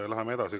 Läheme edasi.